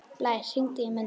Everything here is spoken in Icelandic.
Blær, hringdu í Mundu.